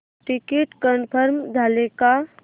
ticket confirm झाले का